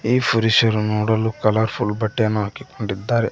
ಈ ಪುರುಷರು ನೋಡಲು ಕಲರ್ ಫುಲ್ ಬಟ್ಟೆಯನ್ನು ಹಾಕಿಕೊಂಡಿದ್ದಾರೆ.